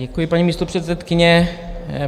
Děkuji, paní místopředsedkyně.